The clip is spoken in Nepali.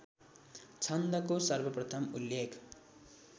छन्दको सर्वप्रथम उल्लेख